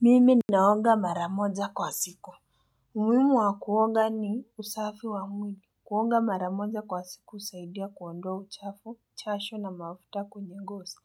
Mimi naonga maramoja kwa siku. Umuhimu wa kuonga ni usafi wa mwili. Kuoga maramoja kwa siku husaidia kuondoa uchafu, chashu na mafuta kwenye ngosi.